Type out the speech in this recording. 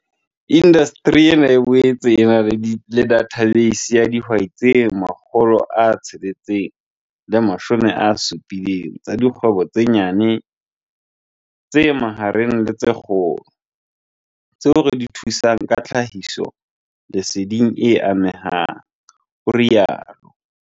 Indasteri ena e boetse e na le dathabeisi ya dihwai tse 670 tsa dikgwebo tse nyane, tse mahareng le tse kgolo, di-SMME, tseo re di thusang ka tlhahisoleseding e amehang, o rialo.